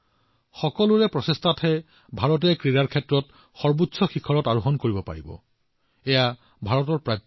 সকলোৰে প্ৰচেষ্টাৰ জৰিয়তে ভাৰতে ক্ৰীড়াক্ষেত্ৰত প্ৰাপ্য উচ্চতা অৰ্জন কৰিবলৈ সক্ষম হব